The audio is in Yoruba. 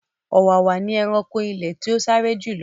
Ọ̀wàwà ni ẹranko ilẹ̀ tí ó sáré jù lọ.